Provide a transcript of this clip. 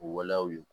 O waleyaw ye